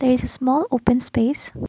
it's a small open space.